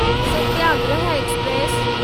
Satyagraha express